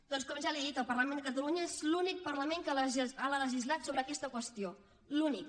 doncs com ja li he dit el parlament de catalunya és l’únic parlament que ha legislat sobre aquesta qüestió l’únic